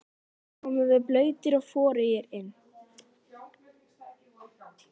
Oft komum við blautir og forugir inn.